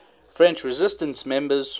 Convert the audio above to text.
french resistance members